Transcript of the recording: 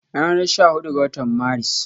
Ranar sha hudu ga watan Maris